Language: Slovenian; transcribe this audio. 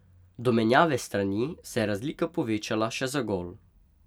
Do menjave strani se je razlika povečala še za gol.